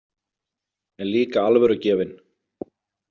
En líka alvörugefinn.